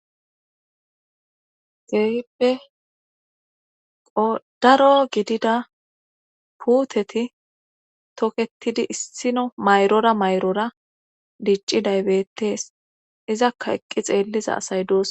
Kehippe qodaro gidida puuteti toketidi issino mayrora mayrora dicci daybettees izakka eqqi xeelliza asay doos.